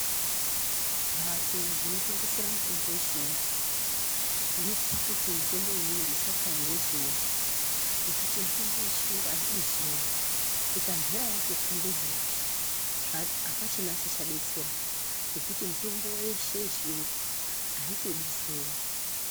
Mbatso dzinotengesera mitombo yechiyungu dzinosisa kuti mitombo iyoyo isatsva ngezuwa, ngekuti mitombo yechiyungu aidi zuwa .Ikambera yatotsva ngezuwa apichina chichadetsera ngekuti mitombo yeshe yechiyungu aitodi zuwa.